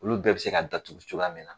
Olu bɛɛ bɛ se ka datugu cogoya min na.